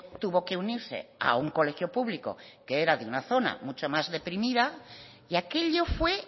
tuvo que unirse a un colegio público que era de una zona mucho más deprimida y aquello fue